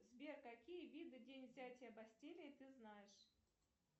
сбер какие виды день взятия бастилии ты знаешь